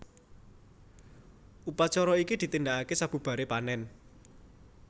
Upacara iki ditindakake sabubaré panèn